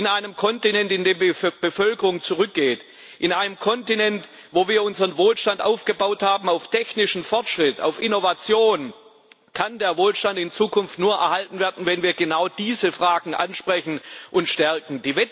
In einem Kontinent, in dem die Bevölkerung zurückgeht, in einem Kontinent, wo wir unseren Wohlstand auf technischem Fortschritt, auf Innovation aufgebaut haben, kann der Wohlstand in Zukunft nur erhalten werden, wenn wir genau diese Fragen ansprechen und stärken.